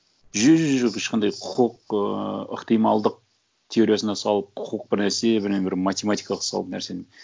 жоқ ешқандай құқық ыыы ықтималдық теориясына салып құқық бір нәрсе бірдеңе бір математикалық салып нәрсені